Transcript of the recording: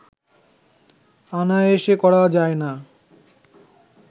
অনায়াসে করা যায় না